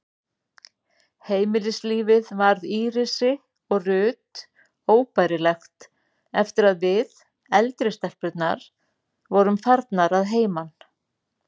Heimilislífið varð Írisi og Ruth óbærilegt eftir að við, eldri stelpurnar, vorum farnar að heiman.